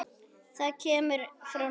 Það kemur frá Noregi.